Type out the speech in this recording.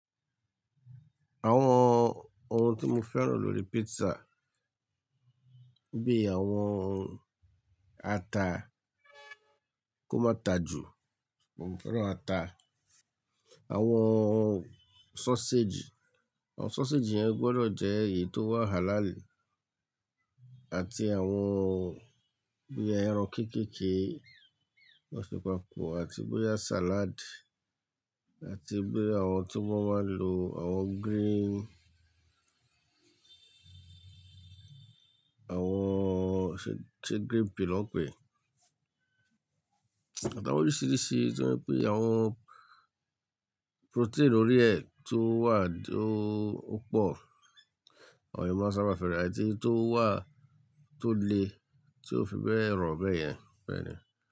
Àwọn ohun tí mo fẹ́ràn lórí pizza bí i àwọn ata kó má ta jù, mo fẹ́ràn ata. Àwọn sausage, àwọn sausage yẹn gbọdọ̀ jẹ́ èyí tó wà halal àti àwọn bí i ẹran kéékèèké, ti won se papo àti bóyá salad àti bí àwọn tó won máa ń lo àwọn green, àwọn ṣé green pea lọ́ ń pè é? Àtàwọn oríṣìíríṣìí tí wọ́n pé àwọn protein orí ẹ̀ tó wà tó o pọ̀, àwọn èèyàn máa ń sábà fẹ́ràn ati èyí tó wà tó le ti ó fi bẹe ro bẹ̀yẹn bẹ́ẹ̀ni.